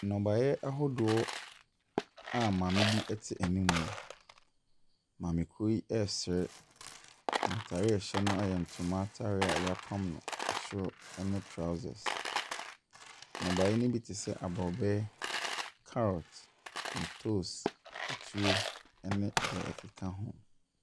Nnɔbayɛ ahodoɔ a maame bi te ɛnimu. Maamekoɔ yi ɛɛsre na ataadeɛ a ɛhyɛ no yɛ ntoma ataadeɛ yapam no ɛsoro ɛne trousers. Nnobayɛ no bi te se abrɔbɛ, carrot, ntos, akutuo ɛne deɛ ɛkeka ho.